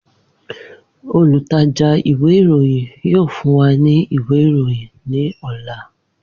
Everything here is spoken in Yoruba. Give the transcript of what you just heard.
Olutaja iwe iroyin yoo fun wa ni iwe iroyin ni ọla.